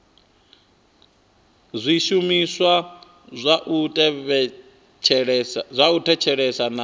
zwishumiswa zwa u thetshelesa na